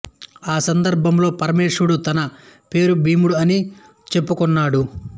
ఆ సందర్భంలో పరమేశ్వరుడే తన పేరు భీముడు అని చెప్పుకున్నాడు